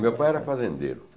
Meu pai era fazendeiro.